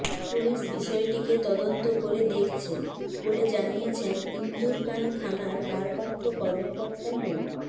police বিষয়টিকে তদন্ত করে দেখছে বলে জানিয়েছেন ইন্দুরকানী থানার ভারপ্রাপ্ত কর্মকর্তা মো